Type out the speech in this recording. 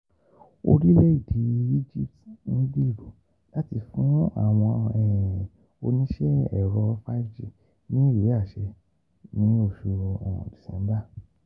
Orílẹ̀-èdè Egypt ń gbèrò láti fún àwọn oníṣẹ́ ẹ̀rọ 5G ní ìwé àṣẹ ní oṣù December